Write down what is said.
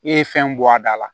E ye fɛn bɔ a da la